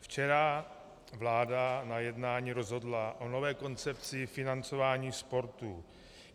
včera vláda na jednání rozhodla o nové koncepci financování sportu.